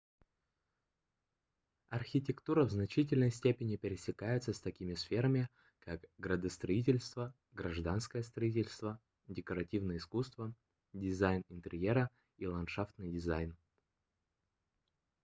архитектура в значительной степени пересекается с такими сферами как градостроительство гражданское строительство декоративное искусство дизайн интерьера и ландшафтный дизайн